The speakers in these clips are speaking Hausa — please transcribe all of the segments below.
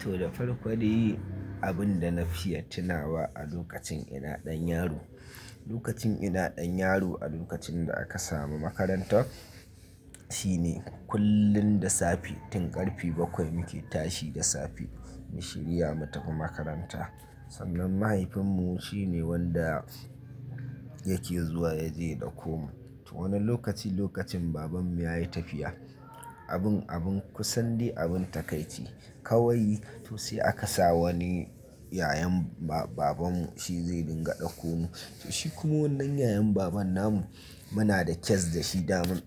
To, da farko dai abin da na fi ya tunawa a lokacin ina ɗan yaro. Lokacin ina ɗan yaro a lokacin da aka samu makarantar shine kullum da safe, tun ƙarfe bakwai muke tashi da safe mu shirya mu tafi makaranta. Sannan mahaifinmu shine wanda yake zuwa ya je ya ɗauko mu. To wani lokaci lokacin babanmu ya yi tafiya, abin, abin kusan dai abin takaici kawai to sai aka sa wani yayan ba-babanmu shi zai dinga ɗauko mu. To shi kuma wannan yayan baban namu, muna da kyas da shi damin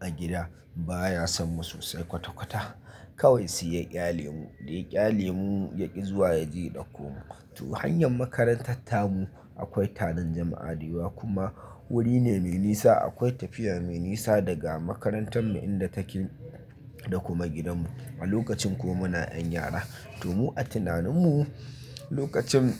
a gida baya son mu sosai kwata-kwata. Kawai sai ya kyale mu, dai kyale mu ya ƙi zuwa ya je ya ɗauko mu. To hanyar makarantar tamu akwai taron jama'a da yawa kuma wuri ne mai nisa. Akwai tafiya mai nisa daga makarantar mu inda take da kuma gidanmu. A lokacin ko muna 'yan yara. To mu a tunaninmu lokacin,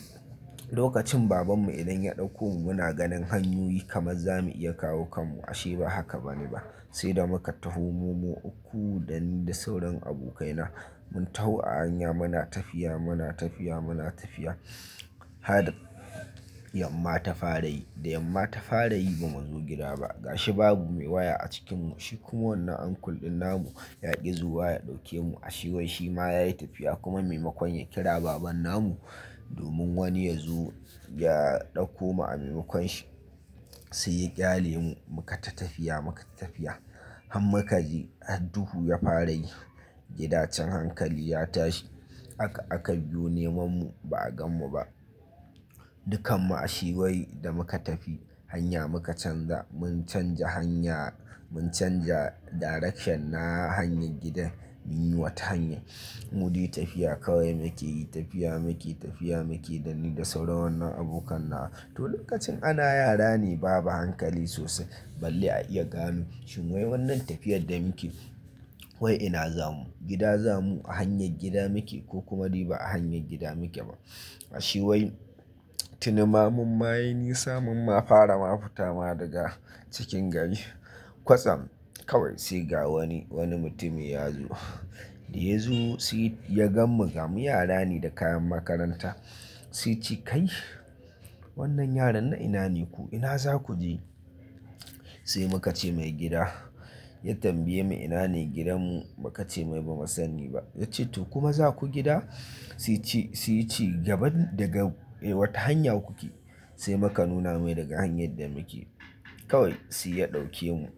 lokacin babanmu idan ya ɗauko mu muna ganin hanyoyi kamar za mu iya kawo kanmu ashe ba haka bane ba. Sai da muka tafi mu uku da ni da sauran abokaina mun taho a hanya muna tafiya, muna tafiya, muna tafiya har yamma ta fara yi. Da yamma ta fara yi bamu zo gida ba ga shi babu mai waya a cikin mu. Shi kuma wannan uncle din namu ya ƙi zuwa ya ɗauke mu. A she wai shima ya yi tafiya kuma maimakon ya kira baban namu domin wani ya zo ya ɗauko mu a maimakon shi, sai ya ƙyale mu muka ta tafiya, muka tafiya har makare hadduhu ya fara yi. Gidan can hankali ya tashi. Aka, aka biyo neman mu ba a gan mu ba. Dukkan mu a she wai da muka tafi hanya muka canza. Mun canja hanya, mun canja direction na hanyar gidan muyi wata hanya. Mu yi tafiya kawai muke yi tafiya, muke tafiya, muke da ni da sauran wannan abokan na. To lokacin ana yara ne babu hankali sosai balle a iya gane shi wai wannan tafiyar da muke wai ina zamu? Gida zamu a hanyar gida muke ko kuma bai a hanyar gida muke ba. A she wai tuni ma mu ma yi nisa mun ma fara mu fita ma daga cikin gari kwasam kawai sai ga wani, wani mutum ya zo. Da ya zo sai ya gan mu, ga mu yara ne da kayan makaranta. Sai yace, "Kai wannan yaran na ina ne ku? Ina za ku je?" Sai muka ce mai gida. Ya tambaye mu ina ne gidanmu muka ce mai bamu sani ba. Yace to kuma za ku gida? Sai yace, sai yace gaban daga eh wata hanya kuke. Sai muka nuna mai daga hanyar da muke. Kawai sai ya ɗauke mu.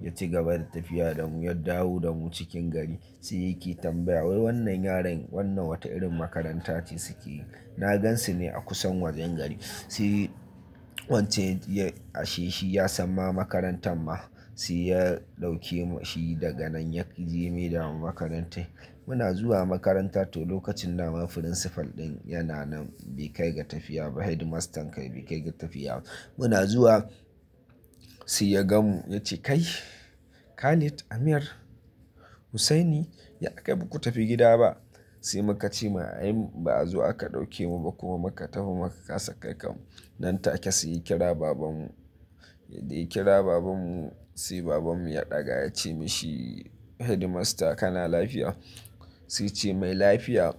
Ya ci gaba da tafiya da mu, ya dawo da mu cikin gari. Sai yake tambaya wai wannan yaran wannan wata irin makaranta ce suke yi? Na gansu ne a kusan wajen gari. Sai wancan ya, a she shi ya san ma makarantar ma. Sai ya ɗauke mu shi daga nan ya ƙi ji maida mu makarantar. Muna zuwa makaranta to lokacin naman principal din yana nan bai kai ga tafiya ba. Headmaster kai bai kai ga tafiya ba. Muna zuwa sai ya gan mu ya ce, "Kai Khalid, Amir, Hussaini ya aka yi baku tafi gida ba?" Sai muka ce ma ai ba zuwa aka ɗauke mu ba kuma muka tafi muka kasa kai kanmu. Nan take sai ya kira babanmu. Da ya kira babanmu sai babanmu ya ɗaga ya ce mashi headmaster kana lafiya. Sai yace mai lafiya.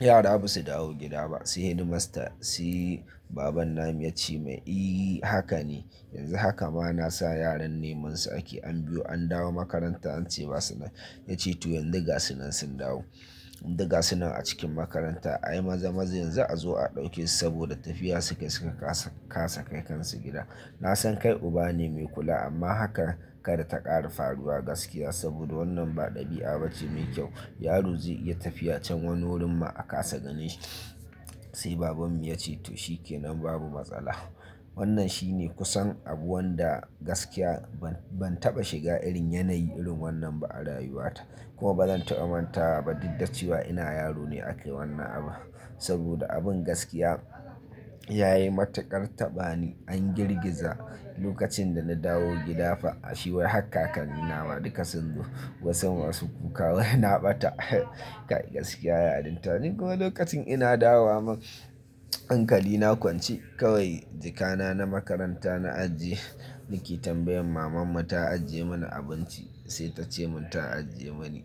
Yara ba su dawo gida ba. Sai headmaster sai baban namu ya ce mai, "I, haka ne. Yanzu haka ma na sa yaran neman su ake an biyo an dawo makaranta an ce ba suna." Ya ce to yanzu ga su nan sun dawo. Duk ga su nan a cikin makaranta. Ai maza-maza yanzu a zo a ɗauke su saboda tafiya su kai suka kasa kasa kai kansu gida. Na san kai uba ne mai kula amma haka kar ta ƙara faruwa gaskiya saboda wannan ba ɗabi'a ba ce mai kyau. Yaro zai iya tafiya can wani wurin ma a kasa ganin shi. Sai babanmu ya ce to shi kenan babu matsala. Wannan shine kusan abu wanda gaskiya ban, ban taɓa shiga irin yanayi irin wannan ba a rayuwata. Kuma bazan taɓa manta ba daddace wa ina yaro ne aka yi wannan abu. Saboda abin gaskiya ya yi matuƙar taɓa ni an girgiza lokacin da na dawo gida fa a she wai har kakan ni na ma duka sun zo kusan wasu kuka wai na ɓata. Gaskiya ya adinta ni kuma lokacin ina dawo mun hankali na kwance kawai jikana na makaranta na aji nake tambayan maman mu ta ajiye mana abinci sai ta ce mun ta ajiye mani.